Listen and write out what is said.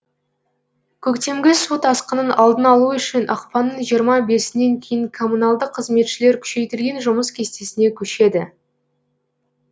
көктемгі су тасқынын алдын алу үшін ақпанның жиырма бесінен кейін коммуналдық қызметшілер күшейтілген жұмыс кестесіне көшеді